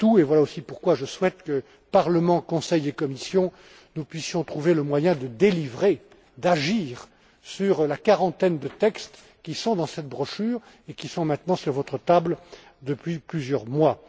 Et voilà aussi pourquoi je souhaite que, Parlement, Conseil et Commission, nous puissions trouver le moyen de délivrer, d'agir, sur la quarantaine de textes qui sont dans cette brochure et qui sont maintenant sur votre table depuis plusieurs mois.